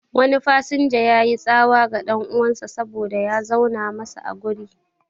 Wani fasinja yayi tsawa ga ɗan'uwansa saboda ya zauna masa a guri